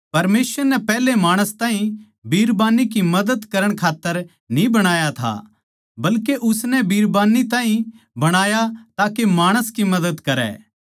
परमेसवर नै पैहले माणस ताहीं बिरबान्नी की मदद करण खात्तर न्ही बणाया था बल्के उसनै बिरबान्नी ताहीं बणाया ताके माणस की मदद करै